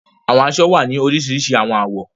Awọn aṣọ wa ni orisirisi awọn awọ